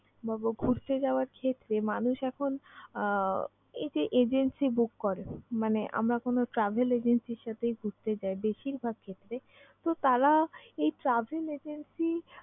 ভাবো ঘুরতে যাওয়ার ক্ষেত্রে মানুষ এখন আহ এই যে agency book করে। মানে আমরা কোন travel agency এর সাথেই ঘুরতে যাই বেশিরভাগ ক্ষেত্রে, তো তারা এই travel agency